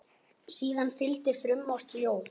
Síðan fylgdi frumort ljóð.